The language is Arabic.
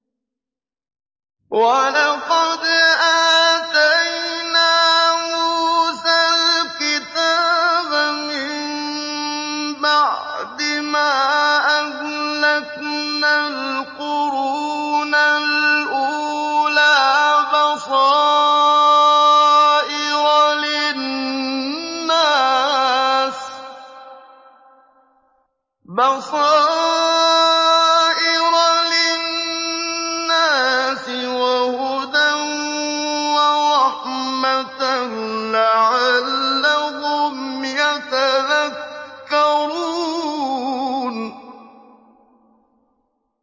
وَلَقَدْ آتَيْنَا مُوسَى الْكِتَابَ مِن بَعْدِ مَا أَهْلَكْنَا الْقُرُونَ الْأُولَىٰ بَصَائِرَ لِلنَّاسِ وَهُدًى وَرَحْمَةً لَّعَلَّهُمْ يَتَذَكَّرُونَ